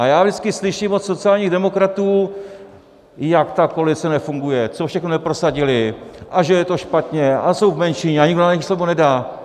A já vždycky slyším od sociálních demokratů, jak ta koalice nefunguje, co všechno neprosadili a že je to špatně a jsou v menšině a nikdo na jejich slovo nedá.